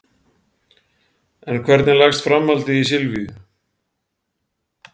En hvernig leggst framhaldið í Silvíu?